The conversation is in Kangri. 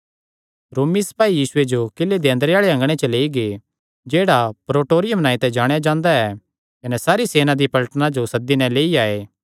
रोमी सपाई यीशुये जो किले दे अंदरे आल़े अँगणे च लेई गै जेह्ड़ा प्रीटोरियुम नांऐ ते जाणेया जांदा ऐ कने सारी सेना दिया पलटना जो सद्दी नैं लेई आये